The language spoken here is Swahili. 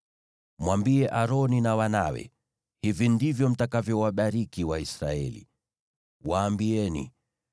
“Mwambie Aroni na wanawe, ‘Hivi ndivyo mtakavyowabariki Waisraeli. Waambieni: